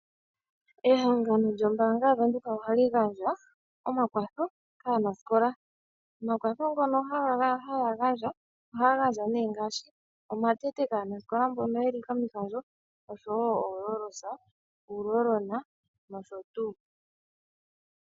Ehangano lyombaanga yavenduka ohali gandja omakwatho kaanasikola nokaantu mbono haya gandja ohaya gandja nee ngaashi omatete kaanasikola mboka yeli komihandjo noshowoo ooros uuroll on nosho tuu.